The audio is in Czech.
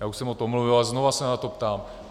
Já už jsem o tom mluvil a znova se na to ptám.